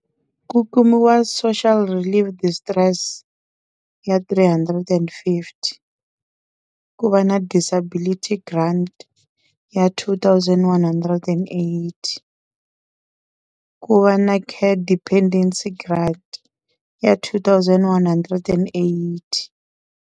Ku kumiwa social relief distress ya three hundred and fifty, ku va na disability grant ya two thousand one hundred and eighty, ku va na care dependency grant ya two thousand one hundred and eighty.